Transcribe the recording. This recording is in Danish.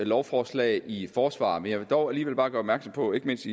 lovforslag i forsvar men jeg vil dog alligevel bare gøre opmærksom på ikke mindst